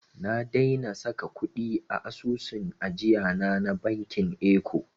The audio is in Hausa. Na daina saka kuɗi a asusun ajiyana na bankin eko.